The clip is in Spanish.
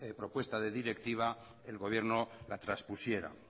propuesta de directiva el gobierno la traspusiera